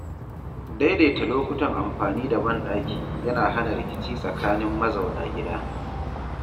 Daidaita lokutan amfani da banɗaki yana hana rikici tsakanin mazauna gida.